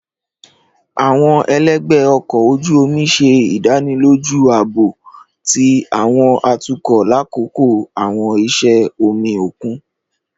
Àwọn ẹlẹgbẹ ọkọ oju omi ṣe idaniloju aabo ti àwọn atukọ lakoko àwọn iṣẹ omi okun.